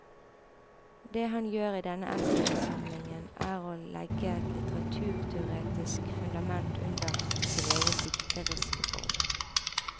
Det han gjør i denne essaysamlingen er å legge et litteraturteoretisk fundament under sin egen dikteriske form.